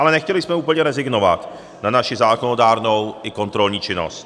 Ale nechtěli jsme úplně rezignovat na naši zákonodárnou i kontrolní činnost.